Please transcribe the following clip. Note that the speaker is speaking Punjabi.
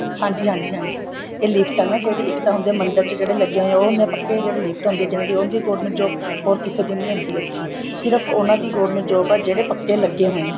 ਹਾਂਜੀ ਹਾਂਜੀ ਹਾਂਜੀ ਇਹ lift ਆ ਨਾ ਜਿਹੜੀ ਇੱਕ ਤਾਂ ਹੁੰਦੇ ਹੈ ਮੰਦਰ ਚ ਜਿਹੜੇ ਲੱਗੇ ਹੋਏ ਉਹ ਹੁਣੇ ਪੱਕੇ ਜਿਹੜੀ lift ਹੁੰਦੀ ਏ ਜਿਹਨਾ ਦੀ ਉਹ ਹੁੰਦੀ ਹੈ government job ਹੋਰ ਕਿਸੇ ਦੀ ਨਹੀਂ ਹੁੰਦੀ ਸਿਰਫ਼ ਉਹਨਾ ਦੀ government job ਆ ਜਿਹੜੇ ਪੱਕੇ ਲੱਗੇ ਹੋਏ ਏ